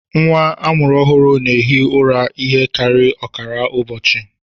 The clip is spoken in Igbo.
Nwa a mụrụ ọhụrụ na-ehi ụra ihe karịrị ọkara ụbọchị